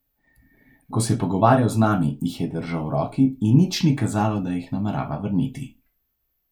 Ko se je pogovarjal z nami, jih je držal v roki, in nič ni kazalo, da jih namerava vrniti.